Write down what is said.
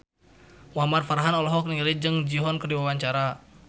Muhamad Farhan olohok ningali Jung Ji Hoon keur diwawancara